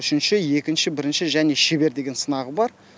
үшінші екінші бірінші және шебер деген сынағы бар